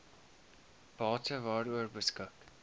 bate waaroor beskik